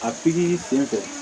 A pikiri sen fɛ